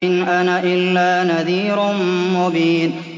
إِنْ أَنَا إِلَّا نَذِيرٌ مُّبِينٌ